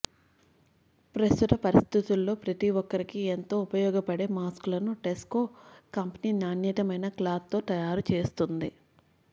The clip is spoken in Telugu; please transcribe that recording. ప్రస్తుత పరిస్థితుల్లో ప్రతి ఒక్కరికి ఎంతో ఉపయోగపడే మాస్కులను టెస్కో కంపెనీ నాణ్యమైన క్లాత్ తో తయారు చేస్తుంది